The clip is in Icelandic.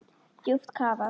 Djúpt kafað.